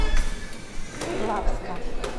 плавска